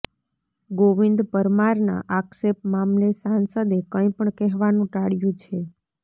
ગોવિંદ પરમારના આક્ષેપ મામલે સાંસદે કંઇ પણ કહેવાનું ટાળ્યું છે